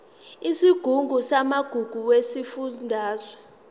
isigungu samagugu sesifundazwe